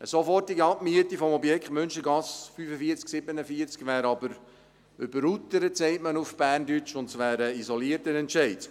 Eine sofortige Abmiete des Objektes Münstergasse 45/47 wäre aber «überuteret» wie wir auf Berndeutsch sagen, und es wäre ein isolierter Entscheid.